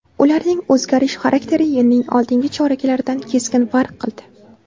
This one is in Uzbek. Ularning o‘zgarish xarakteri yilning oldingi choraklaridan keskin farq qildi.